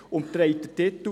Sie trägt den Titel: